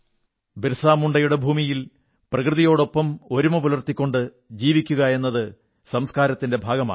ബിർസാ മുണ്ഡയുടെ ഭൂമിയിൽ പ്രകൃതിയോടൊപ്പം ഒരുമ പുലർത്തിക്കൊണ്ട് ജീവിക്കയെന്നത് സംസ്കാരത്തിന്റെ ഭാഗമാണ്